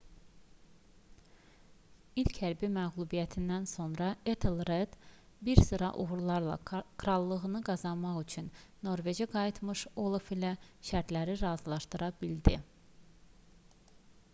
i̇lk hərbi məğlubiyyətdən sonra etelred bir sıra uğurlarla krallığını qazanmaq üçün norveçə qayıtmış olaf ilə şərtləri razılşadıra bildi